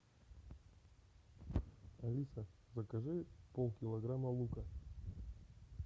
алиса закажи полкилограмма лука